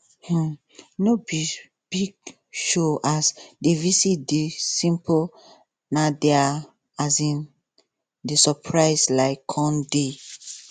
um no be big showas the visit dey simple na dia um the surprise um come dey